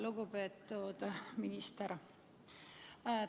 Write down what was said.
Lugupeetud minister!